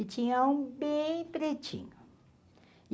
E tinha um bem pretinho.